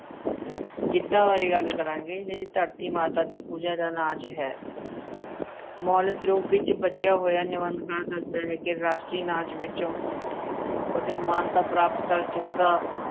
ਗਿੱਧਾ ਬਾਰੇ ਗੱਲ ਕਰਾਂਗੇ ਜਿਹੜੀ ਧਰਤੀ ਮਾਤਾ ਦੀ ਪੂਜਾ ਦਾ ਨਾਚ ਹੈ ਮੌਲਿਕ ਰੂਪ ਵਿੱਚ ਬਚਿਆ ਹੋਇਆ ਦੱਸਦਾ ਹੈ ਕਿ ਰਾਸ਼ਟਰੀ ਨਾਚ ਵਿੱਚੋਂ ਕੁੱਝ ਮਾਨਤਾ ਪ੍ਰਾਪਤ ਕਰ ਚੁੱਕਾ